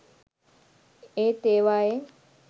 ඒත් ඒවායේ